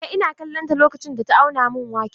Eh, ina kallon ta lokacin da ta auna min waken.